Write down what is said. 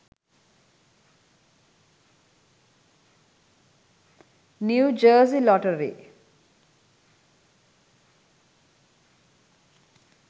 new jersey lottery